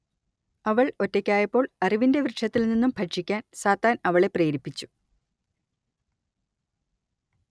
അവൾ ഒറ്റയ്ക്കായപ്പോൾ അറിവിന്റെ വൃക്ഷത്തിൽ നിന്നു ഭക്ഷിക്കാൻ സാത്താൻ അവളെ പ്രേരിപ്പിച്ചു